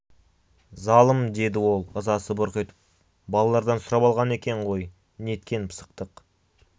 залым деді ол ызасы бұрқ етіп балалардан сұрап алған екен ғой неткен пысықтық